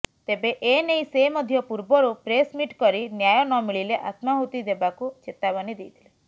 ତେବେ ଏନେଇ ସେ ମଧ୍ୟ ପୂର୍ବରୁ ପ୍ରେସମିଟ୍ କରି ନ୍ୟାୟ ନମିଳିଲେ ଆତ୍ମାହୂତି ଦେବାକୁ ଚେତାବନୀ ଦେଇଥିଲେ